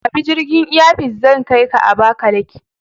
Kabi jirgin Air Peace, zai kaika Abakalaki.